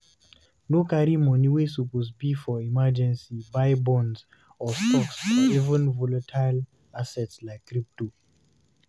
No carry money wey suppose be for emergency buy bonds or stocks or even volatile assets like crypto